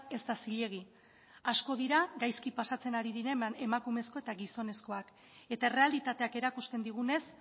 ez da zilegi asko dira gaizki pasatzen ari diren emakumezko eta gizonezkoak eta errealitateak erakusten digunez